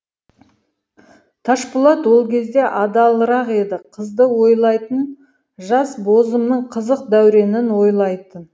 ташпулат ол кезде адалырақ еді қызды ойлайтын жас бозымның қызық дәуренін ойлайтын